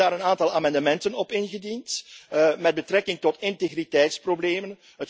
werk. We hebben daar een aantal amendementen op ingediend met betrekking tot integriteitsproblemen.